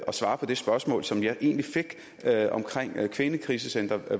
og svare på det spørgsmål som jeg egentlig fik om kvindekrisecentre